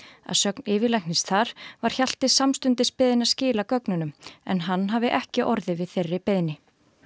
að sögn yfirlæknis þar var Hjalti samstundis beðinn að skila gögnunum en hann hafi ekki orðið við þeirri beiðni